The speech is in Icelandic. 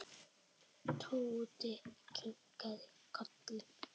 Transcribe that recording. Tóti kinkaði kolli.